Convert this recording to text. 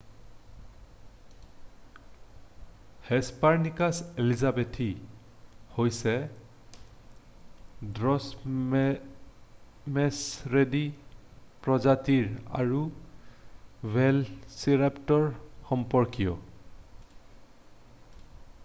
হেছপাৰনিকাছ elizabethae হৈছে ড্ৰ'মেছ'ৰিডী প্ৰজাতিৰ আৰু ভেল'চিৰাপ্টৰৰ সম্পৰ্কীয়